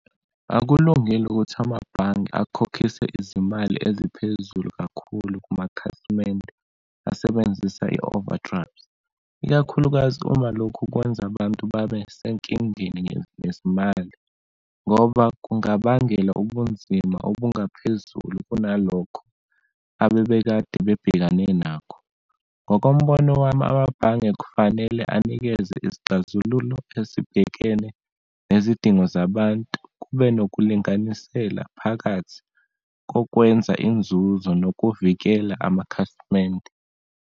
Akulungile ukuthi amabhange akhokhise izimali eziphezulu kakhulu kumakhasimende asebenzisa i-overdraft, ikakhulukazi uma lokhu kwenza abantu babe senkingeni ngezimali, ngoba kungabangela ubunzima obungaphezulu kunalokho abebekade bebhekane nakho. Ngokombono wami, amabhange kufanele anikeze izixazululo ezibhekene nezidingo zabantu, kube nokulinganisela phakathi kokwenza inzuzo nokuvikela amakhasimende.